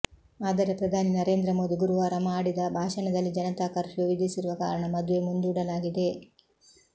ಆದರೆ ಪ್ರಧಾನಿ ನರೇಂದ್ರ ಮೋದಿ ಗುರುವಾರ ಮಾಡಿದ ಭಾಷಣದಲ್ಲಿ ಜನತಾ ಕರ್ಫ್ಯೂ ವಿಧಿಸಿರುವ ಕಾರಣ ಮದುವೆ ಮುಂದೂಡಲಾಗಿದೆ